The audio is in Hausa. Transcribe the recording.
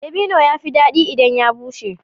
Dabino ya fi daɗi idan ya bushe